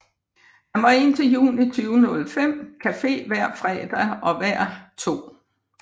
Her var indtil juni 2005 Café hver fredag og hver 2